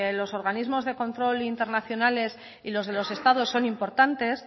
los organismos de control internacional y de los estados son importantes